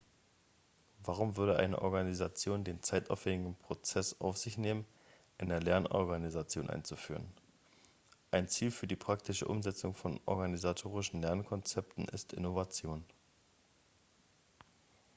warum würde eine organisation den zeitaufwändigen prozess auf sich nehmen eine lernorganisation einzuführen ein ziel für die praktische umsetzung von organisatorischen lernkonzepten ist innovation